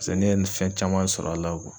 ne ye nin fɛn caman sɔr'a la .